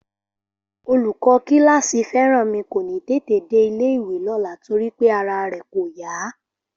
Olùkọ́ kíláàsì Fẹ́rànmi kò ní tètè dé ilé-ìwé lọ́la torí pé ara rẹ̀ kò yá